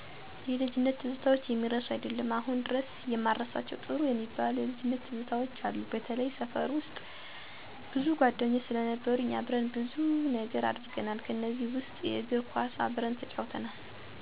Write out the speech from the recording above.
የልጅነት ትዝታዎች የሚረሱ አይደሉም። አሁን ድረስ የማረሳቸው ጥሩ የሚባሉ የልጅነት ትዝታዎች አሉ፤ በተላይ ሰፈር ውስጥ። ሰፈር ውስጥ ብዙ ጓደኞች ስለነበሩኝ አብረን ብዙ ነገር አድርገናል። ከእነዚ ውስጥ የእግር ኳስ አብረን ተጫውተናል፤ አብረን በልተን ጠጥተናል፤ ፊልም አብረን አይተናል። በጣም የሚወደድ እና የሚናፈቁ ጊዜያትን አብረን አስልፈናል። አብረን ብይ፣ ሰኞ ማክሰኞ እና የተለያዩ የለጅነት ጨዋታወች ተጫውተናል።